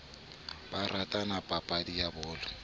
ba ratang papadi ya bolo